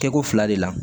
Kɛko fila de la